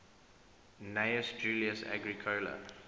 gnaeus julius agricola